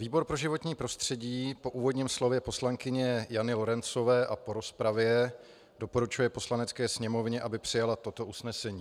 Výbor pro životní prostředí po úvodním slově poslankyně Jany Lorencové a po rozpravě doporučuje Poslanecké sněmovně, aby přijala toto usnesení: